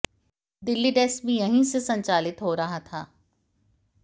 Delhi desk भी यहीं से संचालित हो रहा था